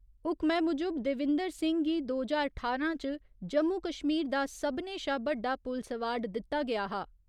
हुक्मै मुजब, देविंदर सिंह गी दो ज्हार ठारां च जम्मू कश्मीर दा सभनें शा बड्डा पुलस अवार्ड दित्ता गेआ हा।